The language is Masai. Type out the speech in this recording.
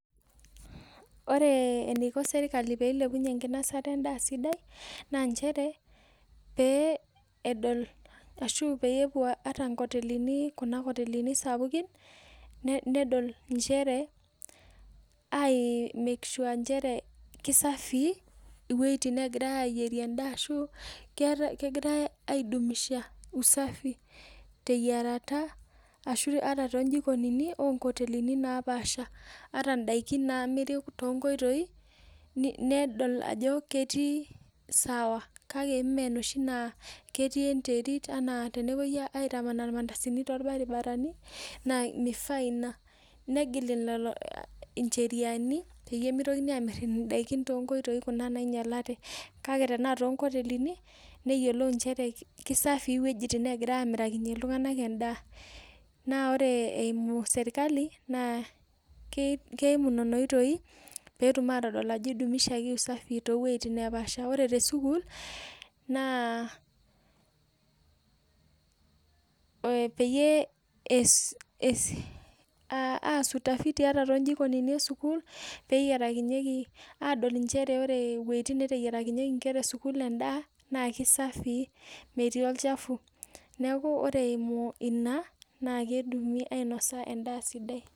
Ore eniko serikali pee ilepunye enkinosata endaa sidai naa nchere, pee edol ashu peyie epwo inkotelini, kuna kotelini sapukin nedol nchere, ai make sure ajo kisafii iwueitin neegirae ayierie endaa ashuu kegirae ai dumisha usafi teyierata ashu ata too njikonini oo nkotelini napaasha. Ata indaiki naamiri toonkoitoi nedol ajo ketii sawa kake mee inoshi naa ketii enterit enaa tenepoi aitamanaa irmandasini torbaribarani naa mifaa ina. Negil lelo incheriani peyie mitokini aamirr indaiki toonkoitoi kuna nainyalate. Kake tenaa toonkotelini, neyiolou nchere, kisafii iwuejitin neegirae aamirakinye iltung'anak endaa. Naa ore eimu serikali naa keimu nena oitoi peetum aatodol ajo idumishaki usafi too wueitin neepaasha. Ore te sukuul, naa peyie eesi utafiti toonkotelini e sukuul peyierakinyeki, adol nchere ore eneteyierakinyeki inkera e sukuul endaa naaki safii, metii olchafu. Neeku ore eimu ina, naakeidimi ainosa endaa sidai